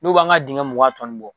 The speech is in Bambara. N'o b'an ka dingɛ mugan tɔ ninnu bɔ,